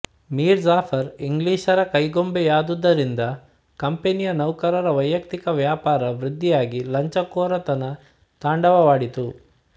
ಮೀರ್ ಜಾಫರ್ ಇಂಗ್ಲಿಷರ ಕೈಗೊಂಬೆಯಾದ್ದುದರಿಂದ ಕಂಪನಿಯ ನೌಕರರ ವೈಯಕ್ತಿಕ ವ್ಯಾಪಾರ ವೃದ್ಧಿಯಾಗಿ ಲಂಚಕೋರತನ ತಾಂಡವವಾಡಿತು